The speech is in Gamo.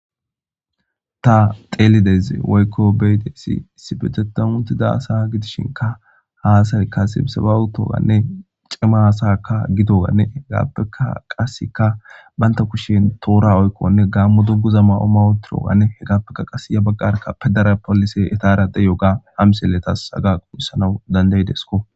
Ta xeelideze woykko be'ido issi issipeteta uttida asa gidishinka ha asayikka sibsabawu uttida cima sakaa gidowanne hegaappeka qaseka banta kushen toora oykkonne gaammo dungguza mayo mayo toraawanne hegaappeka qase ya baggarka pudara polise etaara de'iyooga ha misile tasi aga quuyssanaw dandayidesko.